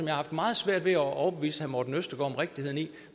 har haft meget svært ved at overbevise herre morten østergaard om rigtigheden i det